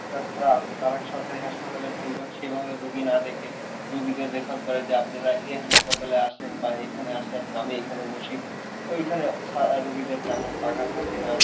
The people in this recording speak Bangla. ডাক্তার রা আসে তারা সরকারি হাসপাতালে সেইভাবে রুগী না দেখে, রুগীদের refer করে যে আপনারা এ হাসপাতালে আসেন বা এখানে আসেন আমি এখানে বসি তো এইখানে রুগীদের তেমন টাকা থাকে না